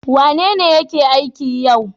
Wanene yake aiki yau?